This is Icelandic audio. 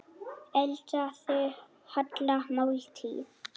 Eldaðu holla máltíð.